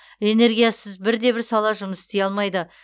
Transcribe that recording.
энергиясыз бірде бір сала жұмыс істей алмайды